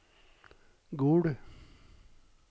Gol